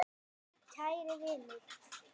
Kæri vinur.